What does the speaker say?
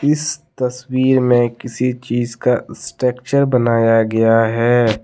इस तस्वीर में किसी चीज का स्ट्रक्चर बनाया गया है।